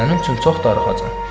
Sənin üçün çox darıxacam.